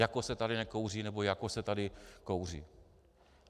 Jako se tady nekouří nebo jako se tady kouří.